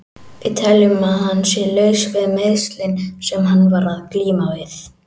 Við teljum að hann sé laus við meiðslin sem hann var að glíma við.